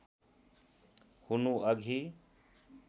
हुनु अघि